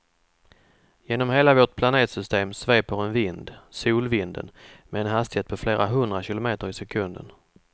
Genom hela vårt planetsystem sveper en vind, solvinden, med en hastighet på flera hundra kilometer i sekunden.